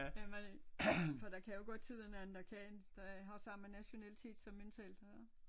Hvad man for der kan jo godt sidde en anden der kan der har samme nationalitet som en selv så